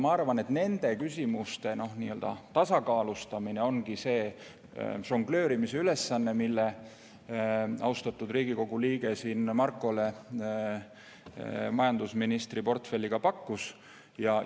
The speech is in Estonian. Ma arvan, et nende küsimuste tasakaalustamine ongi see žongleerimise ülesanne, mille austatud Riigikogu liige Markole majandusministri portfelli pakkudes püstitas.